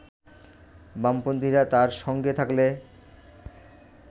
বামপন্থীরা তাঁর সঙ্গে থাকলে